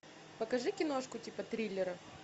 покажи киношку типа триллера